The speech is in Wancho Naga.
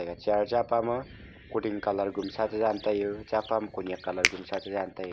chayre cha pama kuding gumsa tedn taiyo chapa ma kunyak colour gumsa chedan taiyo.